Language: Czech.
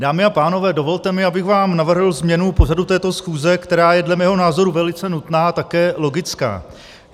Dámy a pánové, dovolte mi, abych vám navrhl změnu pořadu této schůze, která je dle mého názoru velice nutná a také logická.